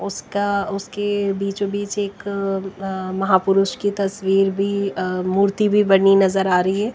उसका उसके बीचों बीच एक अह महापुरुष की तस्वीर भी अह मूर्ति भी बनी नजर आ रही है।